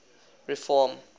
reform